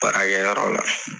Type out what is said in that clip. Baara kɛyɔrɔ la.